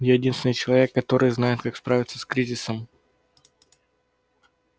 я единственный человек который знает как справиться с кризисом